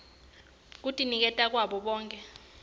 kutinikela kwabo bonkhe